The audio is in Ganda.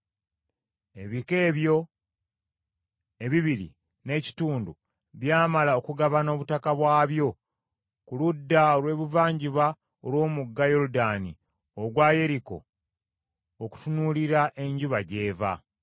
Ebika ebyo ebibiri n’ekitundu byamala okugabana obutaka bwabyo ku ludda olw’ebuvanjuba olw’Omugga Yoludaani ogwa Yeriko okutunuulira enjuba gy’eva.”